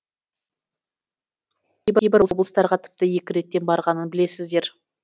кейбір облыстарға тіпті екі реттен барғанын білесіздер